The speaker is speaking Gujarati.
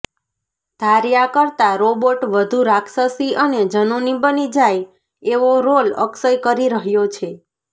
ધાર્યા કરતાં રોબોટ વધુ રાક્ષસી અને ઝનૂની બની જાય એવો રોલ અક્ષય કરી રહ્યો છે